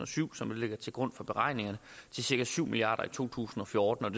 og syv som ligger til grund for beregningerne til cirka syv milliard kroner to tusind og fjorten